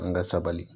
An ka sabali